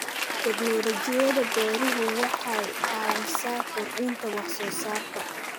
Tignoolajiyada beeruhu waxay caawisaa kordhinta wax soo saarka.